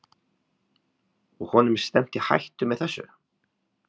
Og honum er stefnt í hættu með þessu?